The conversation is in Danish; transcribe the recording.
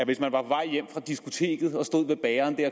hvis man var på vej hjem fra diskoteket og stod ved bageren